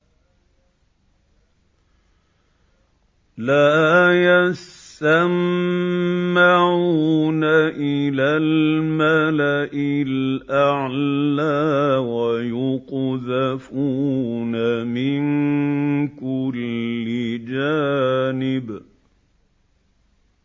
لَّا يَسَّمَّعُونَ إِلَى الْمَلَإِ الْأَعْلَىٰ وَيُقْذَفُونَ مِن كُلِّ جَانِبٍ